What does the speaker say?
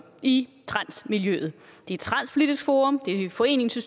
i transmiljøet det er transpolitisk forum det er foreningen